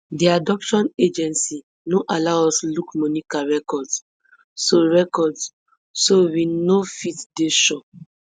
di adoption agency no allow us look monica records so records so we no fit dey sure